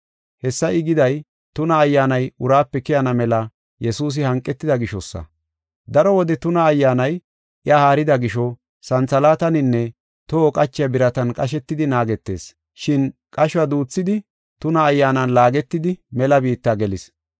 Hessa I giday, tuna ayyaanay uraape keyana mela Yesuusi hanqida gishosa. Daro wode tuna ayyaanay iya haarida gisho santhalaataninne toho qachiya biratan qashetidi naagetees. Shin qashuwa duuthidi tuna ayyaanan laagetidi mela biitta gelis.